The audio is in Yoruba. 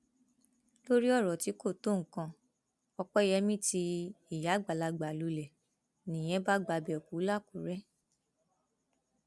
lórí ọrọ tí kò tó nǹkan opeyemi tí ìyá àgbàlagbà lulẹ nìyẹn bá gbabẹ kú làkúrẹ